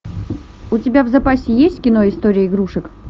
у тебя в запасе есть кино история игрушек